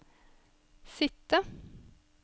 sitte